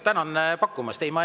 Tänan pakkumast!